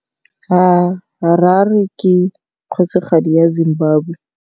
Harare ke kgosigadi ya Zimbabwe.